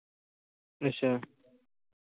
ਅੱਛਾ।